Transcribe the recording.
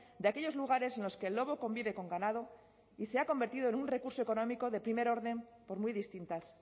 de aquellos lugares en los que el lobo convive con ganado y se ha convertido en un recurso económico de primer orden por muy distintas